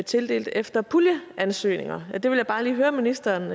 tildelt efter puljeansøgninger og det vil jeg bare lige høre ministeren